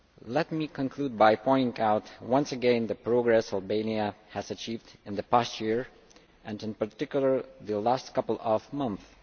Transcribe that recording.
Let me conclude by pointing out once again the progress Albania has achieved in the past year, and in particular the last couple of months.